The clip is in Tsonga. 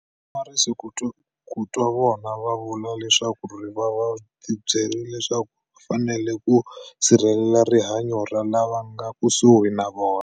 A swi hlamarisi ku twa vona va vula leswaku va va ti byerile leswaku va fanele ku sirhelela rihanyo ra lava nga le kusuhi na vona.